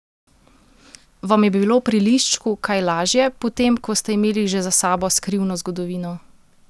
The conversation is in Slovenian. Vam je bilo pri Liščku kaj lažje, potem, ko ste imeli že za sabo Skrivno zgodovino?